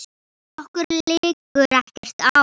Okkur liggur ekkert á